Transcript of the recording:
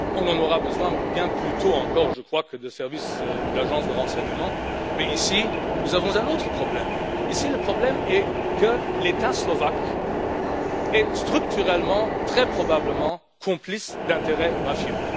On en aura besoin, bien plus tôt encore, je crois, que de services ou d'agences de renseignement, mais ici nous avons un autre problème, à savoir que l'État slovaque est structurellement très probablement complice d'intérêts mafieux.